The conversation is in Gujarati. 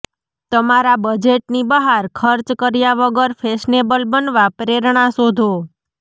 તમારા બજેટની બહાર ખર્ચ કર્યા વગર ફેશનેબલ બનવા પ્રેરણા શોધો